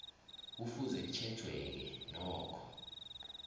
kufuze kutjhejweke nokho